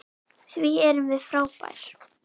Því við erum frábær.